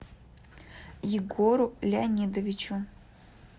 егору леонидовичу